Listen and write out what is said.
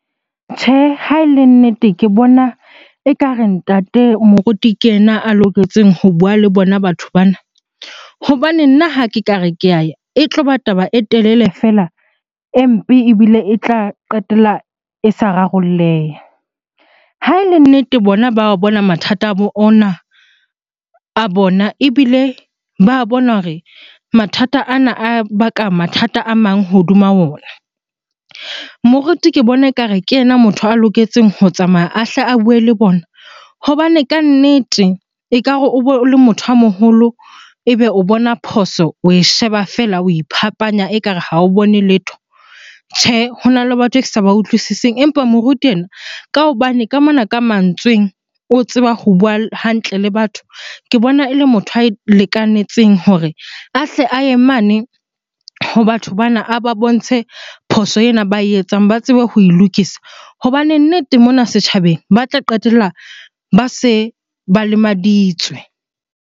Tjhe, ha e le nnete ke bona ekare ntate moruti ke yena a loketseng ho bua le bona batho bana. Hobane nna ha ke ka re, ke e tlo ba taba e telele feela e mpe ebile e tla qetela e sa rarolleha. Ha ele nnete bona ba a bona mathata a ona, a bona ebile ba bona hore mathata ana a baka mathata a mang hodima ona. Moruti ke bona ekare ke yena motho a loketseng ho tsamaya a hle a bue le bona hobane kannete ekare o bo o le motho a moholo ebe o bona phoso oe sheba fela, o iphapanya ekare ha o bone letho. Tjhe, hona le batho e ke sa ba utlwisising. Empa moruti ena ka hobane ka mona ka mantsweng o tseba ho bua hantle le batho, ke bona ele motho a lekanetseng hore a hle a ye mane ho batho bana a ba bontshe phoso ena ba e etsang ba tsebe ho e lokisa. Hobane nnete mona setjhabeng ba tla qetella ba se ba lemaditswe.